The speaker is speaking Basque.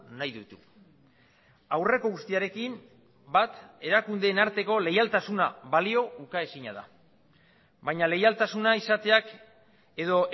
nahi ditu aurreko guztiarekin bat erakundeen arteko leialtasuna balio ukaezina da baina leialtasuna izateak edo